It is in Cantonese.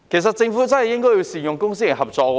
政府真的應該善用公私營合作。